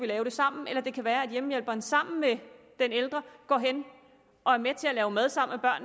lave det sammen eller det kan være at hjemmehjælperen sammen med den ældre går hen og er med til at lave mad sammen